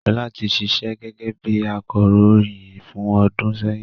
Ṣọlá ti ṣíṣe gẹ́gẹ́ bí akọròyìn fún ọdún sẹ́yìn